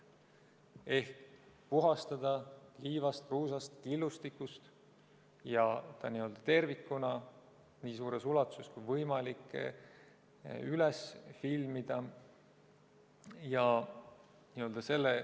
Tuleks puhastada see liivast, kruusast, killustikust ja tervikuna nii suures ulatuses kui võimalik üles filmida.